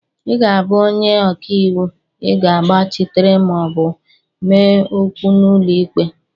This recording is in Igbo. ị ga-abụ onye ọka iwu ị ji gbachitere ma ọ bụ mee okwu n'ụlọ ikpe